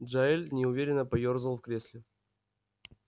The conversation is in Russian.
джаэль неуверенно поёрзал в кресле